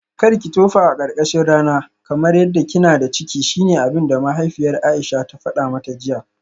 Karki tofa a karkashin rana kamar yadda kina da ciki shine abinda mahaifiyar Aisha ta fada mata jiya?